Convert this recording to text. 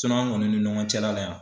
an kɔni ni ɲɔgɔn cɛla la yan